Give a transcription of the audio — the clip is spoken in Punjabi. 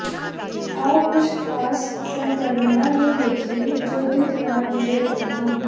ਆਓ ਕੁਝ ਖਾਸ ਸੰਕਰਮਣਾਂ ਨੂੰ ਵੇਖੀਏ ਜੋ ਦੁੱਧ ਨਾਲ ਜੁੜੇ ਹੋਏ ਹਨ